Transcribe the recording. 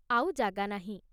ଆଉ ଜାଗା ନାହିଁ।